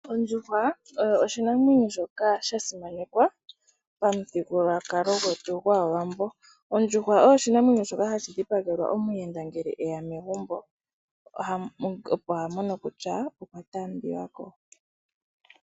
Ondjuhwa oyo oshinamwenyo shokaa shasimanekwa pamuthigululwa gwetu gwaawambo. Ondjuhwa oyo oshinamwenyo shoka hashi dhipagelwa omuyenda ngele eya megumbo opo hamono kutyaa okwa taambiwako.